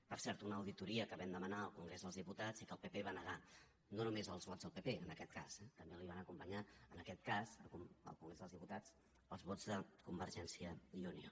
per cert una auditoria que vam demanar al congrés dels diputats i que el pp va negar no només amb els vots del pp en aquest cas eh també els van acompanyar en aquest cas a alguns dels diputats els vots de convergència i unió